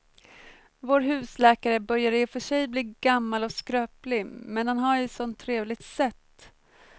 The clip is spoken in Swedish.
Vår husläkare börjar i och för sig bli gammal och skröplig, men han har ju ett sådant trevligt sätt!